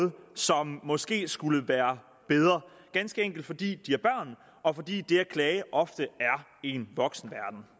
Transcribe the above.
som måske skulle være bedre ganske enkelt fordi de er børn og fordi det at klage ofte er en voksenverden